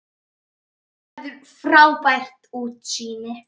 Þar verður frábært útsýni.